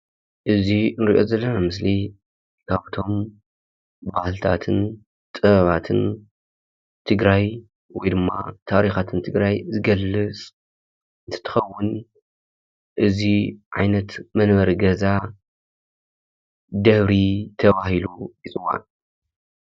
እዚ ንርኦም ዘለና ምስሊ ካብቶም ባህልታትን ጥበባትን ትግራይ ወይድማ ታሪካትን ትግራይ ዝገልፅ እንትኸውን እዚ ዓይነት መንበሪ ገዛ ደብሪ ተባሂሉ ይፅዋዕ።